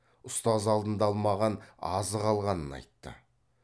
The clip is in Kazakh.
ұстаз алдында алмаған азық алғанын айтты